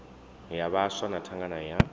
ya vhaswa na thangana ya